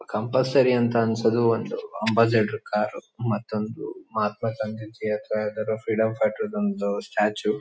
Compulsory ಅಂತ ಅನ್ಸೋದು ಒಂದು ಅಂಬಾಸಿಡರ್ ಕಾರು ಮತ್ತೊಂದು ಮಹಾತ್ಮಾ ಗಾಂಧೀಜಿ ಅಥ್ವಾ ಯಾವ್ದಾದ್ರು ಫ್ರೀಡಂ ಫೈಟರ್ ದೊಂದು ಸ್ಟ್ಯಾಚ್ಯೂ .